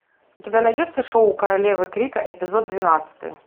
у тебя найдется шоу королевы крика эпизод двенадцатый